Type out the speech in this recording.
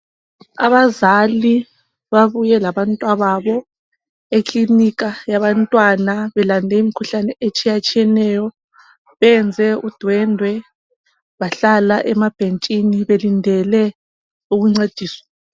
Abazali babuye labantwababo eklinika yabantwana belande imikhuhlane etshiyatshiyeneyo. Benze udwendwe bahlala emabhentshini belindele ukuncediswa.